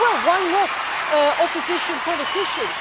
Well, why not opposition politicians?